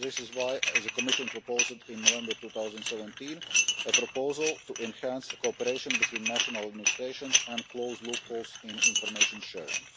This is why the Commission proposed in November 2017 a proposal to enhance the cooperation between national administrations and close loopholes in information sharing.